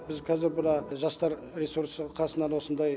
біз қазір бірақ жастар ресурсы қасынан осындай